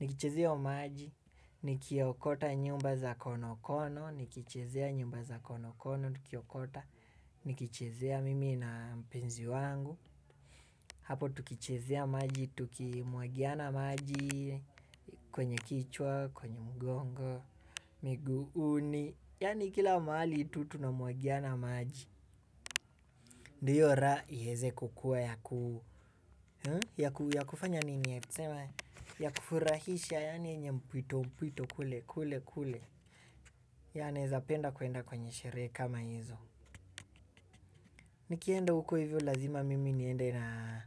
Nikichezea hiyo maji, nikiokota nyumba za konokono, nikichezea nyumba za konokono, nikiokota. Nikichezea mimi na mpenzi wangu hapo tukichezea maji, tukimwagiana maji. Kwenye kichwa, kwenye mgongo, miguuni, yaani kila mahali tu tuna mwagiana maji. Ndiyo raha iweze kukua ya kufanya nini, tuseme, ya kufurahisha yaani yenye mpwito mpwito kule kule kule ya nawezapenda kuenda kwenye sherehe kama hizo. Nikienda huko hivyo lazima mimi niende na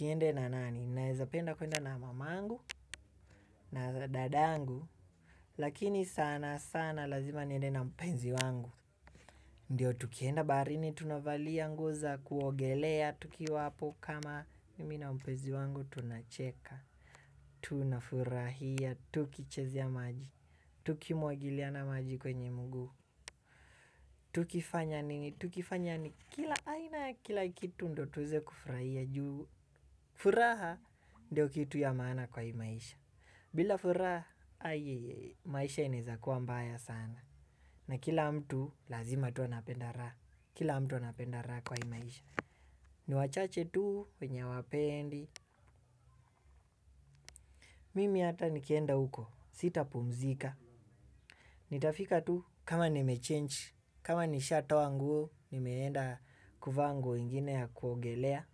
niende na nani? Nawezapenda kuenda na mamangu na dadangu lakini sana sana lazima niende na mpenzi wangu. Ndiyo tukienda baharini tunavalia nguo za kuogelea tukiwa hapo kama mimi na mpenzi wangu tunacheka. Tunafurahia tukichezea maji tukimwagiliana maji kwenye mguu. Tukifanya nini? Tukifanya kila aina kila kitu ndiyo tuweze kufurahia, juu furaha ndiyo kitu ya maana kwa hii maisha. Bila furaha, maisha inawezakuwa mbaya sana. Na kila mtu, lazima tu anapenda raha. Kila mtu anapenda raha kwa hii maisha. Ni wachache tu, wenye hawapendi. Mimi hata nikienda huko, sitapumzika. Nitafika tu, kama nimechange, kama nishatoa nguo. Nimeenda kuvaa nguo ingine ya kuogelea.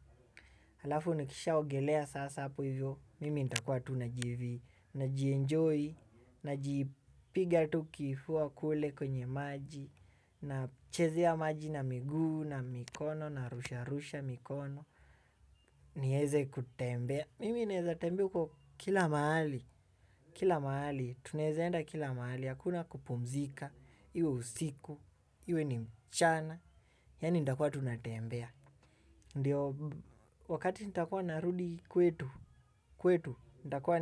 Halafu nikishaogelea sasa hapo hivyo, mimi nitakuwa tunajivi, najienjoy, najipiga tu kifua kule kwenye maji nachezea maji na miguu na mikono, narusharusha mikono. Niweze kutembea, mimi naweza tembea huko kila mahali, kila mahali. Tunawezaenda kila mahali. Hakuna kupumzika iwe usiku, iwe ni mchana, yaani nitakuwa tu natembea. Ndiyo wakati nitakuwa narudi kwetu, kwetu nitakuwa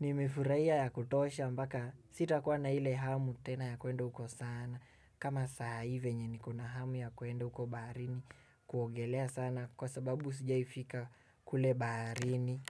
nimefurahia ya kutosha mpaka sitakua na ile hamu tena ya kuenda huko sana kama saai venye nikona hamu ya kuenda uko baharini kuongelea sana kwa sababu sijawai fika kule baharini.